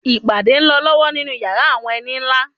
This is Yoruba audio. Ìpàdé ń lọ lọ́wọ́ nínú yàrá àwọn ẹni nlá